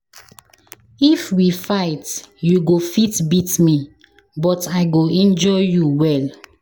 If we fight, you go fit beat me but I go injure you well.